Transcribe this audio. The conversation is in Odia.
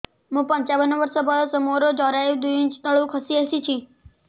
ମୁଁ ପଞ୍ଚାବନ ବର୍ଷ ବୟସ ମୋର ଜରାୟୁ ଦୁଇ ଇଞ୍ଚ ତଳକୁ ଖସି ଆସିଛି